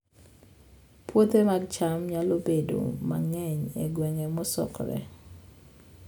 Puothe mag cham nyalo bedo mang'eny e gwenge mosokore